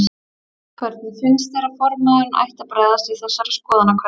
Hvernig finnst þér að formaðurinn ætti að bregðast við þessari skoðanakönnun?